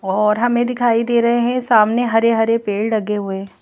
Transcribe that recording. और हमें दिखाई दे रहे हैं सामने हरे-हरे पेड़ लगे हुए।